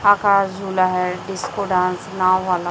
आकाश झूला है disco dance नाव वाला--